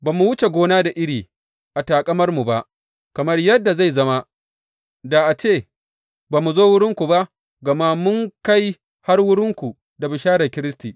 Ba mu wuce gona da iri a taƙamarmu ba, kamar yadda zai zama, da a ce ba mu zo wurinku ba, gama mun kai har wurinku da bisharar Kiristi.